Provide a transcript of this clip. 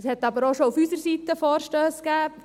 Es gab aber auch schon auf unserer Seite Vorstösse.